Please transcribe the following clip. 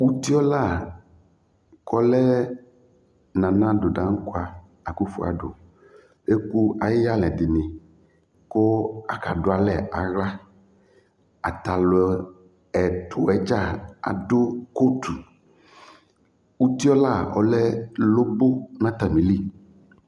uti ɔla kɔlɛ nana ado dankɔa akufor ado eku ayi iyalɛ dini ku aka du alɛ aɣla atalu ɛtu ɛdʒa adu kotu uti ɔla ɔlɛ lobo nu atamili